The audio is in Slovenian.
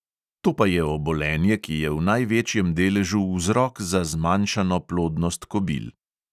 To pa je obolenje, ki je v največjem deležu vzrok za zmanjšano plodnost kobil.